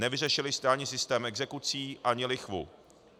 Nevyřešili jste ani systém exekucí, ani lichvu.